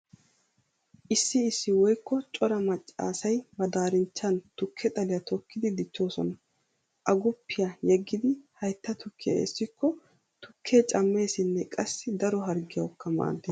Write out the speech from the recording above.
Issi issi woykko cora macca asay ba daarinchchan tukke xaliya tokkidi dichchoosona. Aguppiya yeggidi haytta tukkiya essikko tukkee cammeesinne qassi daro harggiyawukka maaddees.